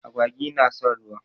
Agwagi na son ruwa.